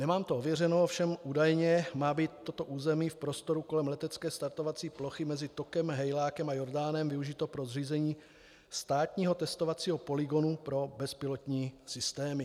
Nemám to ověřeno, ovšem údajně má být toto území v prostoru kolem letecké startovací plochy mezi Tokem, Hejlákem a Jordánem využito pro zřízení státního testovacího polygonu pro bezpilotní systémy.